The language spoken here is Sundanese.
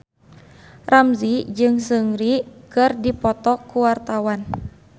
Ramzy jeung Seungri keur dipoto ku wartawan